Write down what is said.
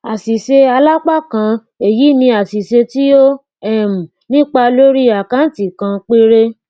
àṣìṣealápákan èyi ní àṣìṣe tí ó um nípa lórí àkáǹtì kan péré